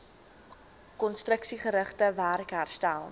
konstruksiegerigte werk herstel